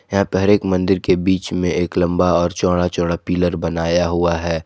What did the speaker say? यहां पर हर एक मंदिर के बीच में एक लंबा और चौड़ा चौड़ा पिलर बनाया हुआ है।